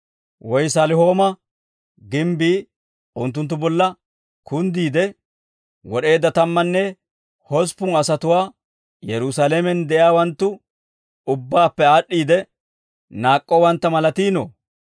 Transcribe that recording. Woy Salihooma gimbbii unttunttu bolla kunddiide, wod'eedda tammanne hosppun asatuwaa Yerusaalamen de'iyaawanttu ubbaappe aad'd'iide naak'k'owantta malatiinoo?